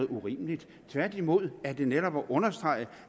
urimeligt tværtimod er det netop at understrege